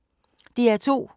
DR2